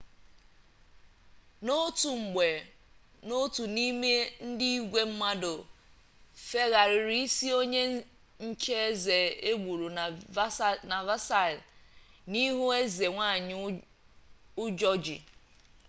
n'otu mgbe otu n'ime ndị igwe mmadụ fegharịrị isi onye nche eze egburu na versailles n'ihu eze nwanyi ụjọ ji